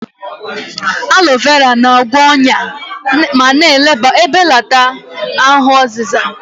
Aloe vera na-agwọ ọnya ma na-ebelata ahụ ọzịza.